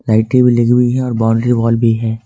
लाइटें भी हुई है और बाउंड्री वॉल भी है।